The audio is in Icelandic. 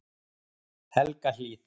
Helgahlíð